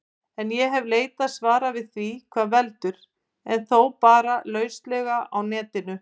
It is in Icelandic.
En ég hef leitað svara við því hvað veldur, en þó bara lauslega á Netinu.